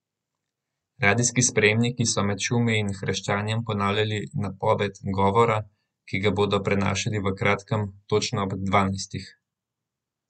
Radijski sprejemniki so med šumi in hreščanjem ponavljali napoved govora, ki ga bodo prenašali v kratkem, točno ob dvanajstih.